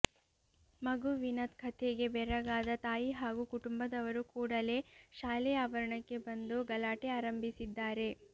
ಮಗುವಿನ ಕಥೆಗೆ ಬೆರಗಾದ ತಾಯಿ ಹಾಗೂ ಕುಟುಂಬದವರು ಕೂಡಲೇ ಶಾಲೆಯ ಆವರಣಕ್ಕೆ ಬಂದು ಗಲಾಟೆ ಆರಂಭಿಸಿದ್ದಾರೆ